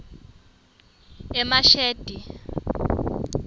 emashadi